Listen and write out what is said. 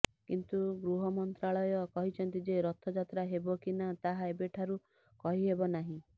କିନ୍ତୁ ଗୃହମନ୍ତ୍ରଣାଳୟ କହିଛନ୍ତି ଯେ ରଥଯାତ୍ରା ହେବ କି ନା ତାହା ଏବେଠାରୁ କହିହେବ ନାହିଁ